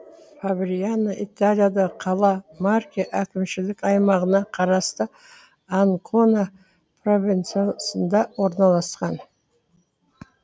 фабриано италиядағы қала марке әкімшілік аймағына қарасты анкона провинциясында орналасқан